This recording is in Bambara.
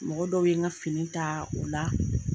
Mɔgɔ dɔw ye n ka fini taa o la